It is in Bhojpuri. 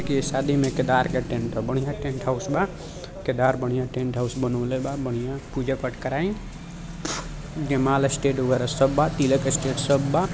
इनके शादी मे केदार के टेंट हौ बढ़िया टेंट हाउस बा केदार बढ़िया टेंट हाउस बनाउले बा बढ़िया पूजा पाठ कराई जयमाला स्टेज वगेेरा सब बा तिलक स्टेज सब बा।